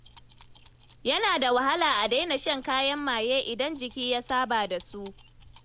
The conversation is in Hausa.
Yana da wahala a daina shan kayan maye idan jiki ya saba da su.